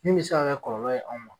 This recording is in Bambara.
Min bɛ se ka kɛ kɔlɔlɔ ye anw ma.